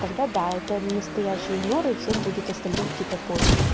тогда да это настоящий игнор и всем будет остальным типа пофигу